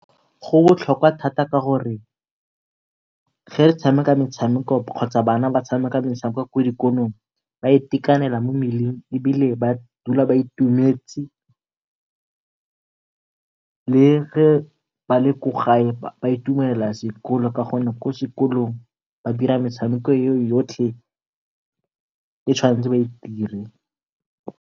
Go botlhoka thata ka gore ge re tshameka metshameko kgotsa bana ba tshameka metshameko kwa dikolong ba itekanela mo mmeleng, ebile ba dula ba itumetse le ge ba le ko gae ba itumelela sekolo gonne ko sekolong ba dira metshameko e yotlhe e tshwantse ba e dire.